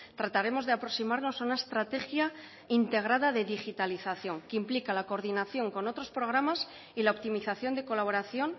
trataremos de aproximarnos una estrategia integrada de digitalización que implica la coordinación con otros programas y la optimización de colaboración